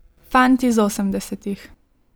Fant iz osemdesetih.